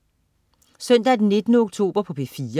Søndag den 19. oktober - P4: